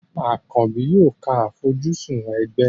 Àkànbì yóò ka àfojúsùn ẹgbẹ́.